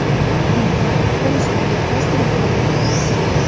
Infarkt bo‘lishimga ozgina qoldi.